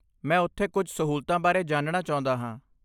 ਮੈਂ ਉੱਥੇ ਕੁਝ ਸਹੂਲਤਾਂ ਬਾਰੇ ਜਾਣਨਾ ਚਾਹੁੰਦਾ ਹਾਂ।